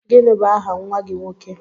Gịnị bụ aha nwa gị nwoke?